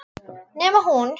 Nema hún.